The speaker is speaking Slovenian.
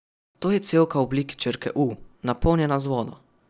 To je cevka v obliki črke U, napolnjena z vodo.